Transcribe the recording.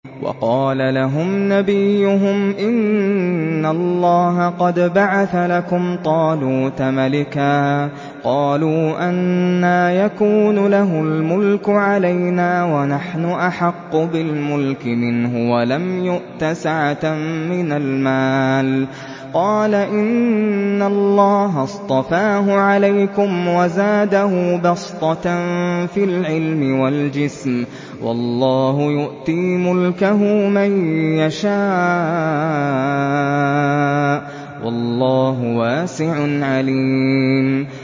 وَقَالَ لَهُمْ نَبِيُّهُمْ إِنَّ اللَّهَ قَدْ بَعَثَ لَكُمْ طَالُوتَ مَلِكًا ۚ قَالُوا أَنَّىٰ يَكُونُ لَهُ الْمُلْكُ عَلَيْنَا وَنَحْنُ أَحَقُّ بِالْمُلْكِ مِنْهُ وَلَمْ يُؤْتَ سَعَةً مِّنَ الْمَالِ ۚ قَالَ إِنَّ اللَّهَ اصْطَفَاهُ عَلَيْكُمْ وَزَادَهُ بَسْطَةً فِي الْعِلْمِ وَالْجِسْمِ ۖ وَاللَّهُ يُؤْتِي مُلْكَهُ مَن يَشَاءُ ۚ وَاللَّهُ وَاسِعٌ عَلِيمٌ